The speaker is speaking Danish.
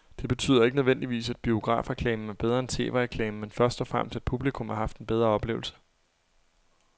Det betyder ikke nødvendigvis, at biografreklamen er bedre end tv-reklamen, men først og fremmest at publikum har haft en bedre oplevelse.